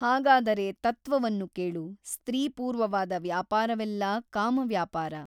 ಹಾಗಾದರೆ ತತ್ವವನ್ನು ಕೇಳು ಸ್ತ್ರೀಪೂರ್ವವಾದ ವ್ಯಾಪಾರವೆಲ್ಲ ಕಾಮವ್ಯಾಪಾರ.